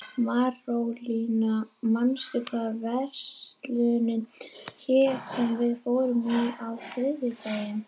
Marólína, manstu hvað verslunin hét sem við fórum í á þriðjudaginn?